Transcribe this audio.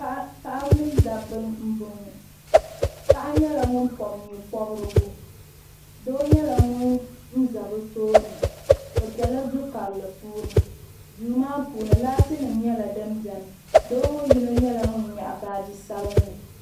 paɣaba mini dabba m-bɔŋɔ paɣa nyɛla ŋun pɔbi nye' pɔbirigu doo nyɛla ŋun za bɛ tooni bɛ bela du' karili puuni duu maa puuni laatinima nyɛla din beni doo ŋɔ yino nyɛla ŋun nyaɣi baaji sabinli.